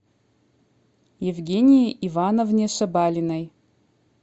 евгении ивановне шабалиной